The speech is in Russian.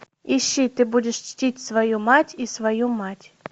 ищи ты будешь чтить свою мать и свою мать